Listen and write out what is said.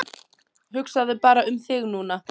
Hugsaðu bara um þig núna.